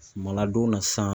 Suma ladon na sisan